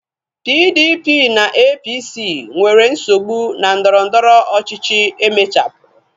PDP na APC nwere nsogbu na ndọrọndọrọ ọchịchịa emechapuru